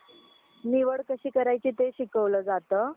निवड कशी करायची ते शिकवलं जातं.